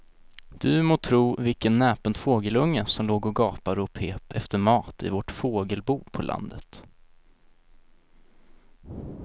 Du må tro vilken näpen fågelunge som låg och gapade och pep efter mat i vårt fågelbo på landet.